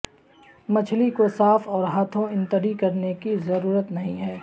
مچھلی کو صاف اور ہاتھوں انتڑی کرنے کی ضرورت نہیں ہے